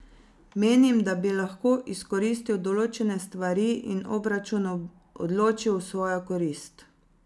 Menim, da bi lahko izkoristil določene stvari in obračun odločil v svojo korist.